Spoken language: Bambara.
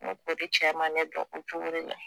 N go kɔri cɛ ma ne dɔn o cogo de la